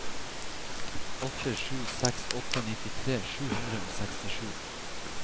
åtte sju seks åtte nittitre sju hundre og sekstisju